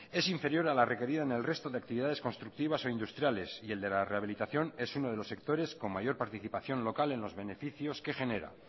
es inferior a la requerida en el resto de actividades constructivas o industriales y la de la rehabilitación es uno de los sectores con mayor participación local en los beneficios que genera